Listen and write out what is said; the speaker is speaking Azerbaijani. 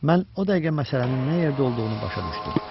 Mən o dəqiqə məsələnin nə yerdə olduğunu başa düşdüm.